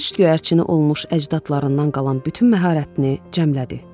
Poçt göyərçini olmuş əcdadlarından qalan bütün məharətini cəmlədi.